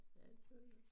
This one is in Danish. Ja det tøs jeg